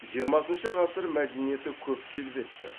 жиырмасыншы ғасыр мәдениеті көп келбетті